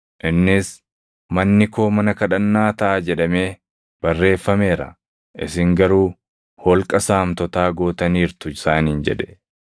Innis, “ ‘Manni koo mana kadhannaa taʼa’ jedhamee barreeffameera; isin garuu ‘Holqa saamtotaa’ gootaniirtu” + 19:46 \+xt Erm 7:11\+xt* isaaniin jedhe.